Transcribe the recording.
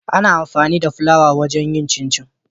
Ana amfani da fulawa wajen yin cincin